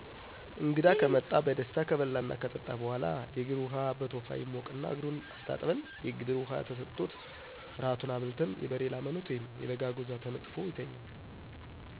እንግዳ ከመጣ በደስታ ከበላና ከጠጣ በኋላ :የእግር ዉሃ በቶፋ ይሞቅና እግሩን አስታጥበን የግብር ውሃ ተሠጥቶት። ራቱን አብልተን የበሬ ላምነት ወይም የበግ አጎዛ ተነጥፎ ይተኛል።